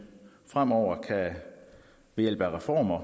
fremover ved hjælp af reformer